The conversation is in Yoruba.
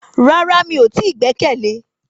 Rárá mi o ti gbẹ́kẹ̀lé